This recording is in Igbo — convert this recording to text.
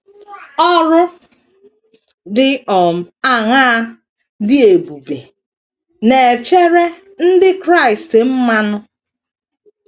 Ọrụ dị um aṅaa dị ebube na - echere ndị Kraịst mmanụ?